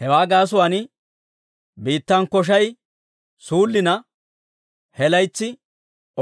Hewaa gaasuwaan biittan koshay suullina, he laytsi